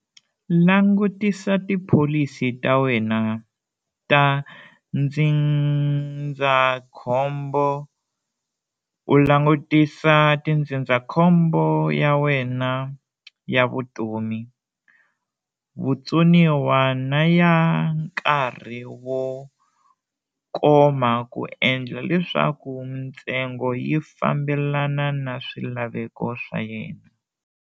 Langutisisa tipholisi ta wena ta ndzindzakhombo - u langutisisa tindzindzakhombo ya nwena ya vutomi, vutsoniwa na ya nkarhi wo koma ku endlela leswaku mintsengo yi fambelana na swilaveko swa wena.